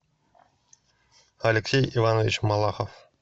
алексей иванович малахов